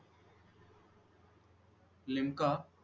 limca